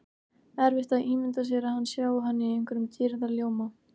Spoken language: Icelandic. Erfitt að ímynda sér að hann sjái hana í einhverjum dýrðarljóma.